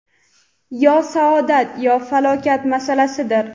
yo saodat – yo falokat masalasidir.